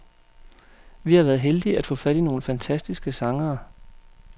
Vi har været heldige at få fat i nogle fantastiske sangere.